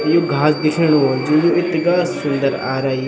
यु घास दिखेणु वलू जू यु इथगा सुन्दर आरई।